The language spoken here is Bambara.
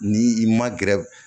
Ni i ma gɛrɛ